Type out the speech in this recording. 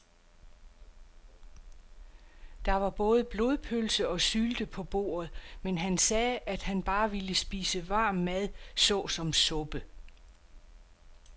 Der var både blodpølse og sylte på bordet, men han sagde, at han bare ville spise varm mad såsom suppe.